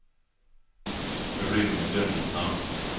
Rune Gunnarsson